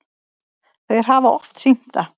Þeir hafa oft sýnt það.